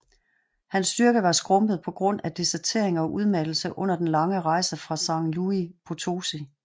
Hans styrke var skrumpet på grund af desertering og udmattelse under den lange rejse fra San Luis Potosi